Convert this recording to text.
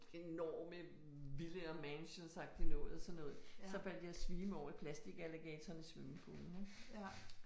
Enorme villaer mansions agtig noget sådan noget, så faldt jeg i svime over plastikalligatorerne i swimmingpoolen, ik